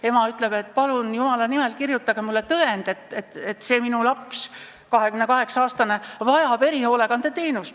Ema ütleb, et palun, jumala nimel, kirjutagu tõend, et see laps, 28-aastane, vajab erihoolekandeteenust.